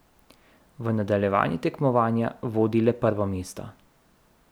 V nadaljevanje tekmovanja vodi le prvo mesto.